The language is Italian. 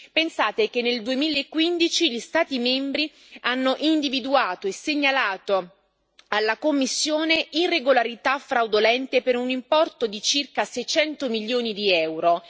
Pensate che nel 2015 gli Stati membri hanno individuato e segnalato alla Commissione irregolarità fraudolente per un importo di circa 600 milioni di euro.